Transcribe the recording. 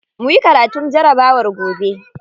Muyi karatun jarabawar gobe.